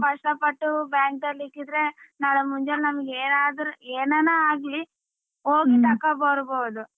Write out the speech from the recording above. ನಾವ್ ಕಷ್ಟ ಪಟ್ಟು bank ಅಲ್ಲಿ ಇಕ್ಕಿದ್ರೆ ನಾಳೆ ಮುಂದೆ ನಮ್ಗೆ ಏನಾದರೂ ಎನಾನಾಗಲಿ ಹೋಗಿ ತಕಬರ್ಬೋದು.